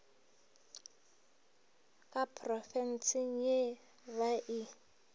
ka phrobenseng ye ba e